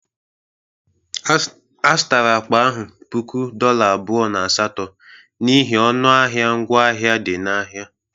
A zụtara akpa ahụ puku dolla abụọ na asatọ n'ihi ọnụ ahịa ngwa ahịa dị n'ahịa.